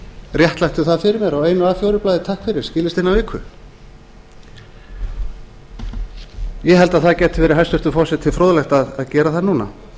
réttlættu það fyrir mér á einu a fjórar blaði takk fyrir og skilist innan viku ég held að það gæti verið hæstvirtur forseti fróðlegt að gera það núna